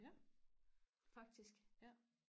ja faktisk ja